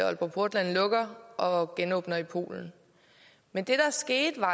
aalborg portland lukker og genåbner i polen men det der skete da